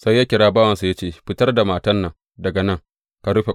Sai ya kira bawansa ya ce, Fitar da matan nan daga nan, ka rufe ƙofa.